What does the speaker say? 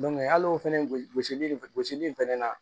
hali o fɛnɛ gosi gosili gosili fɛnɛ na